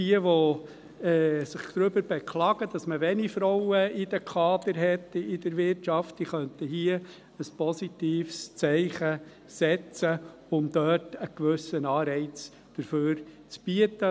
Diejenigen, die sich darüber beklagen, dass man in der Wirtschaft wenige Frauen in den Kadern hat, könnten hier ein positives Zeichen setzen, um dort einen gewissen Anreiz zu bieten.